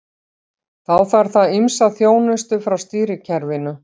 Þá þarf það ýmsa þjónustu frá stýrikerfinu.